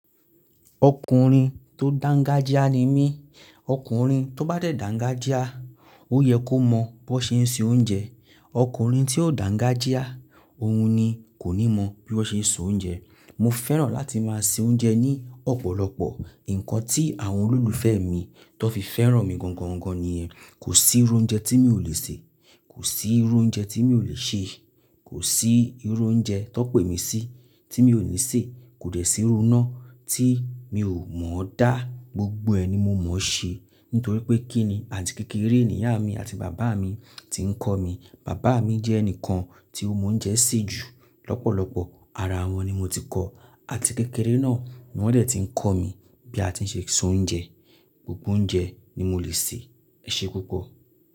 Ọkùnrin tó dángájíá ni mí. Ọkùnrin tó bá dẹ̀ dángájíá, ó yẹ kó mọ bó ṣe ń se oúnjẹ. Ọkùnrin tí ò dàǹgájíá, òun ni kò ní mọ bí wọ́n ṣe ń soúnjẹ. Mo fẹ́ràn láti máa se oúnjẹ ní ọ̀pọ̀lọpọ̀. Nǹkan tí àwọn olólùfẹ́ mi tàn fi fẹ́ràn mi gan gan ni ẹ. Kò sí irú oúnjẹ tí mi ò le sè. Kò sí irú oúnjẹ tí mi ò lè ṣe. Kò sí irú oúnjẹ tàn pè mí sí tí mi ò ní ṣè. Kò dẹ́ sí irú iná tí mi ò mọ̀ hán dá. Gbogbo ẹ̀ ni mo mọ̀ hán ṣe nítorí pé kí ni àti kékeré ni ìyá mi àti bàbá mi tí ń kọ́ mi. Bàbá mi jẹ́ ẹnìkan tí ó mọ oúnjẹ sè jù lọ́pọ̀lọpọ̀. Ara wọn ni mo ti kọ́, àti kékeré náà ni wọ́n dẹ̀ ti ń kọ̀ mí bí a ti ń ṣe soúnjẹ. Gbogbo oúnjẹ ni mo le sè. Ẹ ṣé púpọ̀.